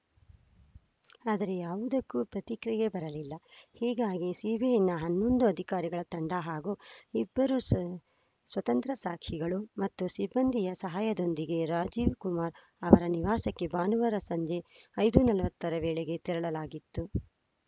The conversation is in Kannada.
ಆದರೆ ಯಾವುದಕ್ಕೂ ಪ್ರತಿಕ್ರಿಯೆ ಬರಲಿಲ್ಲ ಹೀಗಾಗಿ ಸಿಬಿಐನ ಹನ್ನೊಂದು ಅಧಿಕಾರಿಗಳ ತಂಡ ಹಾಗೂ ಇಬ್ಬರು ಸ್ವ ಸ್ವತಂತ್ರ ಸಾಕ್ಷಿಗಳು ಮತ್ತು ಸಿಬ್ಬಂದಿಯ ಸಹಾಯದೊಂದಿಗೆ ರಾಜೀವ್‌ ಕುಮರ್‌ ಅವರ ನಿವಾಸಕ್ಕೆ ಭಾನುವಾರ ಸಂಜೆ ಐದು ನಲ್ವತ್ತರ ವೇಳೆಗೆ ತೆರಳಲಾಗಿತ್ತು